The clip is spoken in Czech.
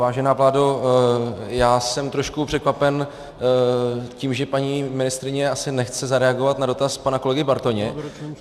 Vážená vládo, já jsem trošku překvapen tím, že paní ministryně asi nechce zareagovat na dotaz pana kolegy Bartoně.